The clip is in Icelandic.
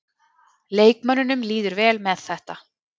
Leikmönnunum líður vel með þetta.